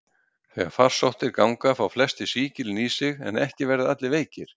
Þegar farsóttir ganga fá flestir sýkilinn í sig, en ekki verða allir veikir.